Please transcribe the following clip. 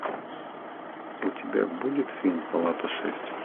у тебя будет фильм палата шесть